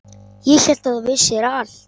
Ég hélt að þú vissir allt.